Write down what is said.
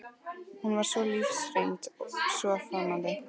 Hún var svo lífsreynd, svo framandi.